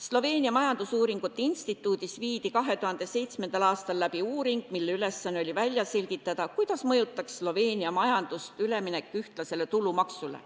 Sloveenia majandusuuringute instituudis tehti 2007. aastal uuring, mille ülesanne oli välja selgitada, kuidas mõjutaks Sloveenia majandust üleminek ühtlasele tulumaksule.